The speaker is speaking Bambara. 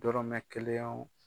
Dɔmɛ kelen wo